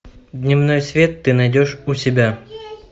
дневной свет ты найдешь у себя